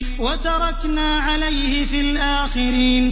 وَتَرَكْنَا عَلَيْهِ فِي الْآخِرِينَ